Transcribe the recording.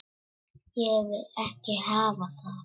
Ég vil ekki hafa það.